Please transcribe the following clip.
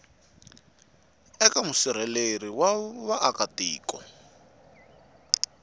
eka musirheleli wa vaaka tiko